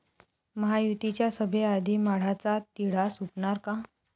महायुतीच्या सभेआधी, माढाचा तिढा सुटणार का?